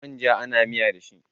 Manja ana miya da shi